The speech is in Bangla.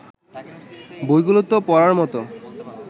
বইগুলো তো পড়ার মতো